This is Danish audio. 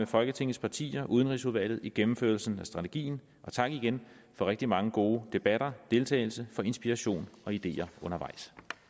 folketingets partier og udenrigsudvalget i gennemførelsen af strategien og tak igen for rigtig mange gode debatter og deltagelse for inspiration og ideer undervejs